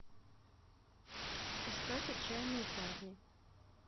искать отчаянные парни